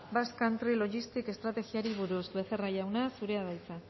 basque country logistics estrategiari buruz becerra jauna zurea da hitza